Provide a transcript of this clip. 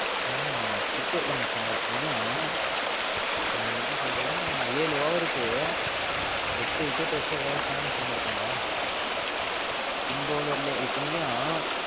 அஹ் cricket ல மச்சா ஒரு பையன் எப்படி சொல்றதுனா ஏழு over க்கு எட்டு wicket எடுத்து உலக சாதனை பண்ணிருகான்டா spin bowler லைலே இத்தனைக்கும்